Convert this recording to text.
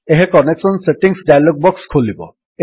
ଏହା connection settings dialog box ଖୋଲିବ